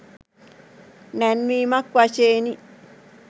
නැංවීමක් වශයෙනි.